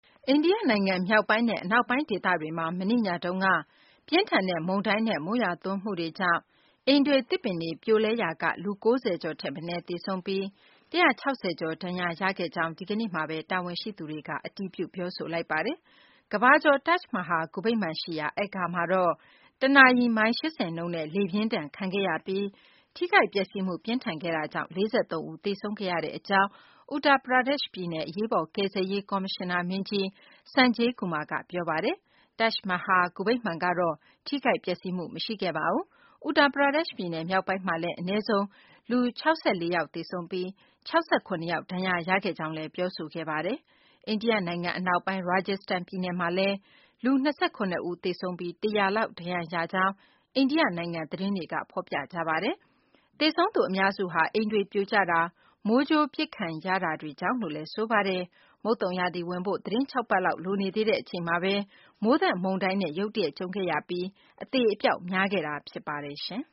အိန္ဒိယနိုင်ငံ မြောက်ပိုင်းနဲ့ အနောက်ပိုင်းဒေသတွေမှာ မနေ့ညတုန်းက ပြင်းထန်တဲ့ မုန်တိုင်းနဲ့ မိုးရွာသွန်းမှုတွေကြောင့် အိမ်တွေ၊ သစ်ပင်တွေ ပြိုလဲရာက လူ ၉၀ ကျော်ထက်မနည်း သေဆုံးပြီး၊ ၁၆၀ ကျော် ဒဏ်ရာရခဲ့ကြောင်း ဒီကနေ့မှာပဲ တာဝန်ရှိသူတွေက အတည်ပြု ပြောဆိုလိုက်ကြပါတယ်။ ကမ္ဘာကျော် Taj Mahal ဂူဗိမ္မာန်ရှိရာ Agra မှာတော့၊ တနာရီ မိုင် ၈၀ နှုန်းနဲ့ လေပြင်းဒဏ်ခံခဲ့ရပြီး၊ ထိခိုက်ပျက်စီးမှု ပြင်းထန်ခဲ့တာကြောင့် ၄၃ ဦး သေဆုံးခဲ့ကြောင်း Uttar Pradesh ပြည်နယ် အရေးပေါ်ကယ်ဆယ်ရေး ကော်မရှင်နာမင်းကြီး Sanjay Kumar ကပြောပါတယ်။ Taj Mahal ဂူဗိမ္မာန်ကတော့ ထိခိုက်ပျက်စီးမှု မရှိခဲ့ပါဘူး။ Uttar Pradesh ပြည်နယ် မြောက်ပိုင်းမှာလည်း အနည်းဆုံး လူ ၆၄ ယောက် သေဆုံးပြီး၊ ၆၇ ယောက် ဒဏ်ရာရခဲ့ကြောင်းလည်း ပြောဆိုခဲ့တာပါ။ အိန္ဒိယနိုင်ငံအနောက်ပိုင်း Rajasthan ပြည်နယ်မှာလည်း လူ ၂၇ ဦး သေဆုံးပြီး၊ ၁၀၀ လောက် ဒဏ်ရာရခဲ့ကြောင်း အိန္ဒိယနိုင်ငံက သတင်းတွေက ဖော်ပြကြပါတယ်။ သေဆုံးသူ အများစုဟာ အိမ်တွေပြိုကျတာ၊ မိုးကြိုးပစ်ခံရတာကြောင့်လို့လည်း ဆိုပါတယ်။ မုန်သုန်ရာသီဝင်ဖို့ သီတင်း ၆ ပတ်လောက် လိုသေးတဲ့ အချိန်မှာပဲ မိုးသက်မုန်တိုင်းနဲ့ ရုတ်တရက် ကြုံခဲ့ရပြီး အသေအပျောက် များခဲ့တာလည်း ဖြစ်ပါတယ်။ ဆင်